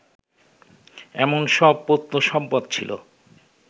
এমন সব প্রত্নসম্পদ ছিল